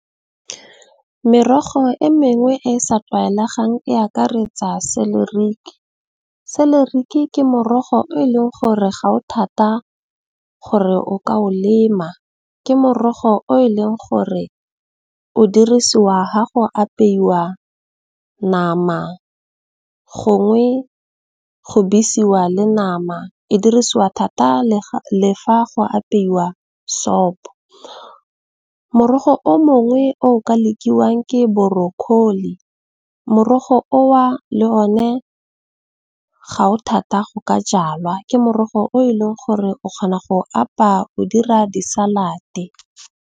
Merogo e mengwe e sa tlwaelegang e akaretsa celeric, celeric ke morogo o leng gore ga o thata gore o ka o lema, ke morogo o e leng gore o dirisiwa ha go apeiwa nama, gongwe go besiwa le nama, e dirisiwa thata le fa go apeiwa sopo. Morogo o mongwe o ka lekiwang ke brocoli, morogo oo le one ga o thata go ka jalwa ke morogo o e leng gore o kgona go apaya o dira di salate.